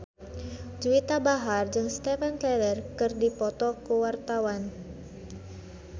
Juwita Bahar jeung Steven Tyler keur dipoto ku wartawan